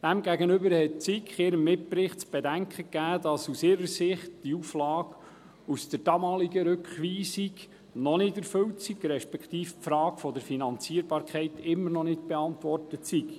Demgegenüber gab die SiK in ihrem Mitbericht zu bedenken, dass aus ihrer Sicht die Auflage aus der damaligen Rückweisung noch nicht erfüllt respektive die Frage der Finanzierbarkeit immer noch nicht beantwortet sei.